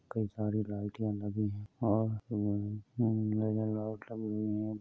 कई सारे लाइटियां लगीं हैं और लाइट लगी हुई हैं।